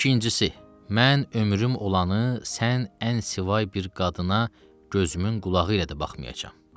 İkincisi, mən ömrüm olanı, sən ənsivay bir qadına gözümün qulağı ilə də baxmayacam.